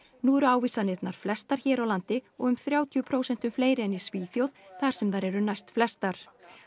nú eru ávísanir flestar hér á landi um þrjátíu prósentum fleiri en í Svíþjóð þar sem þær eru næst flestar